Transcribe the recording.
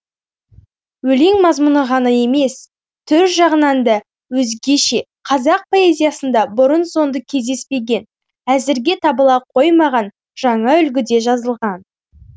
өлең мазмұны ғана емес түр жағынан да өзгеше қазақ поэзиясында бұрын соңды кездеспеген әзірге табыла қоймаған жаңа үлгіде жазылған